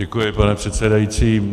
Děkuji, pane předsedající.